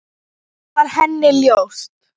Það var henni ljóst.